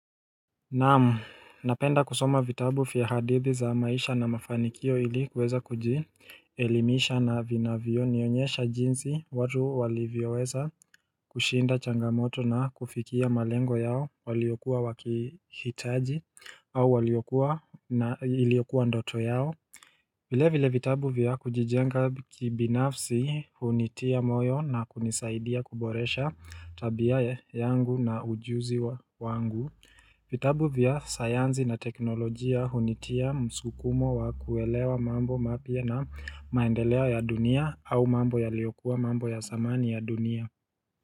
Naam, napenda kusoma vitabu fia hadithi za maisha na mafanikio ili kuweza kuji elimisha na vinavyo nionyesha jinsi watu walivyoweza kushinda changamoto na kufikia malengo yao waliokuwa wakihitaji au waliokuwa na iliokuwa ndoto yao vile vile vitabu vya kujijenga kibinafsi hunitia moyo na kunisaidia kuboresha tabiaye yangu na ujuzi wa wangu vitabu vya sayanzi na teknolojia hunitia msukumo wa kuelewa mambo mapya na maendeleo ya dunia au mambo ya liokua mambo ya zamani ya dunia.